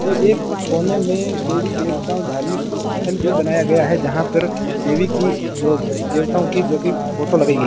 ये एक कोने में देवी देवताओं धार्मिक स्थल भी बनाया गया है जहां पर देवी की जो देवताओं की जोकि फोटो लगाई गई --